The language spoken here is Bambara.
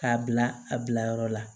K'a bila a bilayɔrɔ la